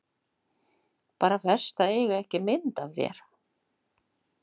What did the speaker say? Bara verst að eiga ekki mynd af þér.